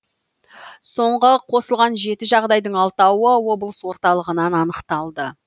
соңғы қосылған жеті жағдайдың алтауы облыс орталығынан анықталды